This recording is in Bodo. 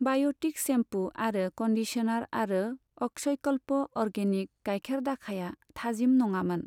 बाय'टिक सेम्पु आरो कन्डिसनार आरो अक्षयकल्प अर्गेनिक गायखेर दाखाया थाजिम नङामोन।